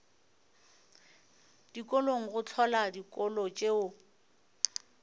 dikolong go hlola dikolo tšeo